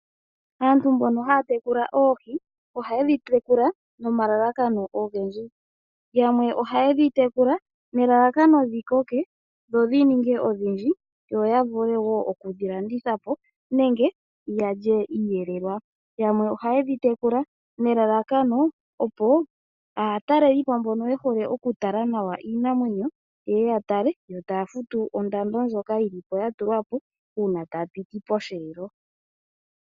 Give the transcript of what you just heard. Aantu mbono haya tekula oohi ohaye dhi tekula nomalalakano ogendji. Yamwe ohaye dhi tekula nelalakano dhi koke dho dhi ninge odhindji yo ya vule wo okudhi landitha po nenge ya lyeiiyelelwa. Yamwe ohaye dhi tekula nelalakano, opo aatalelipo mboka ye hole okutala nawa iinamwenyo ye ye ya tale yo taya futu ondando ndjoka ya tulwa po, uuna taya piti posheelo.